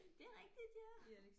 Det er rigtigt ja